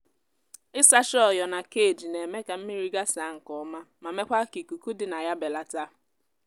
ị sacha ọ́yọ̀ na cage na-eme ka mmiri gasa nke ọma ma mekwa ka ikuku dị na ya belata.